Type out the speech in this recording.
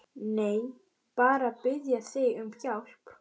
Nei, bara að biðja þig um hjálp.